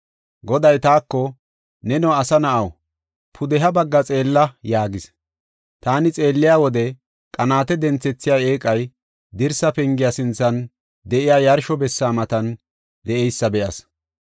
Goday taako, “Neno asa na7aw, pudeha bagga xeella” yaagis. Taani xeelliya wode qanaate denthethiya eeqay, dirsa pengiya sinthan de7iya yarsho bessa matan de7eysa be7as.